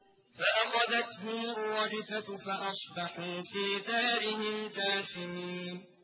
فَأَخَذَتْهُمُ الرَّجْفَةُ فَأَصْبَحُوا فِي دَارِهِمْ جَاثِمِينَ